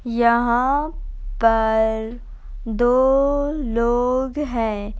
यहाँ पर दो लोग हैं।